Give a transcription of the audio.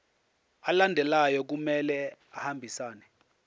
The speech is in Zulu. alandelayo kumele ahambisane